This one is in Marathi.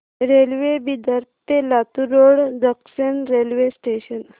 रेल्वे बिदर ते Latur road junction railway station